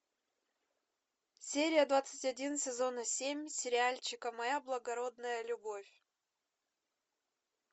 серия двадцать один сезона семь сериальчика моя благородная любовь